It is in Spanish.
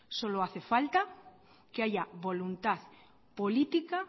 solo hace falta que haya voluntad política